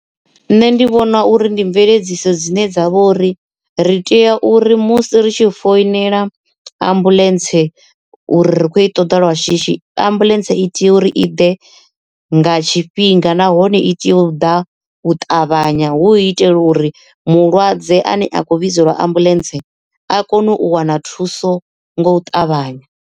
Nṋe ndi vhona uri ndi mveledziso dzine dzavha uri ri tea uri musi ri tshi foinela ambuḽentse uri ri kho i ṱoḓa lwa shishi ambuḽentse i tea uri i ḓe nga tshifhinga nahone i tea u ḓa u ṱavhanya hu itela uri mulwadze ane a kho vhidzelwa ambuḽentse a kone u wana thuso ngo u ṱavhanya.